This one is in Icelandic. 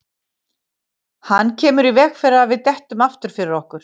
Hann kemur í veg fyrir að við dettum aftur fyrir okkur.